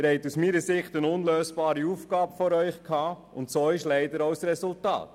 Sie hatten aus meiner Sicht eine unlösbare Aufgabe vor sich, und dies zeigt sich leider auch am Resultat.